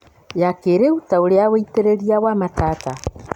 ya kĩrĩu ta ũrĩa wĩitĩrĩria wa matata